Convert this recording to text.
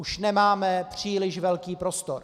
Už nemáme příliš velký prostor.